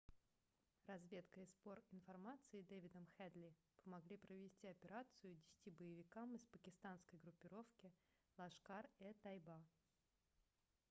разведка и сбор информации дэвидом хедли помогли провести операцию 10 боевикам из пакистанской группировки лашкар-е-тайба